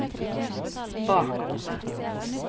bakrommet